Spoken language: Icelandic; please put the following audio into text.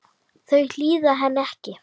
Þau hlýða henni ekki.